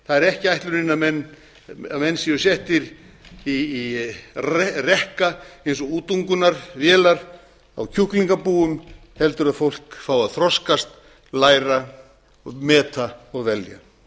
það er ekki ætlunin að menn séu settir í rekka eins og útungunarvélar á kjúklingabúum heldur að fólk fái að þroskast læra meta og velja